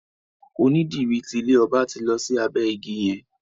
Onídìrí ti ilé ọba ti lọ sí abẹ́ ìgi yẹn.